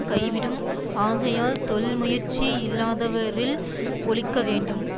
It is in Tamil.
கைவிடும் ஆகையால் தொழில் முயற்சி இல்லாதவரில் ஒழிக்க வேண்டும்